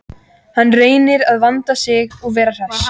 Hann reynir að vanda sig og vera hress.